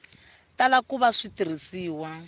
tala ku va swi tirhisiwa